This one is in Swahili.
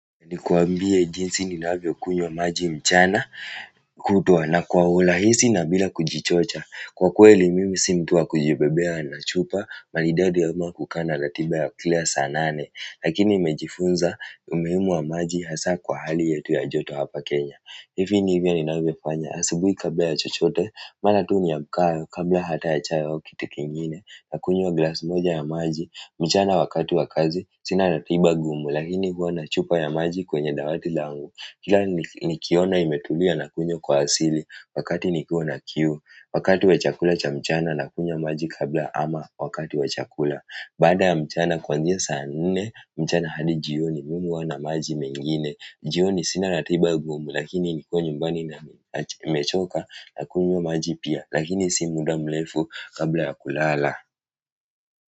Nikuambie jinsi ninavyokunywa maji mchana kutwa na kwa urahisi na bila kujichocha. Kwa kweli mimi si mtu wa kujibebea na chupa, maridadi ama kukaa na ratiba ya kila saa nane. Lakini nimejifunza umuhimu wa hasa kwa hali yetu ya joto hapa kenya hivi ndivyo ninavyofanya, asubuhi kabla ya chochote, mara tu niamkayo, kabla hata ya chai au kitu kingine, nakunywa glass moja ya maji mchana wakati wa kazi sina ratiba gumu lakini huwa na chupa ya maji kwenye dawati langu kila nikiona imetulia nakunywa kwa asili wakati niko na kiu wakati wa chakula cha mchana nakunywa maji kabla ama wakati wa chakula baada ya mchana kuanzia saa nne mchana hadi jioni mimi huwa na maji mengine jioni sina ratiba gumu lakini nikiwa nyumbani na nimechoka nakunywa maji pia lakini si muda mrefu kabla ya kulala.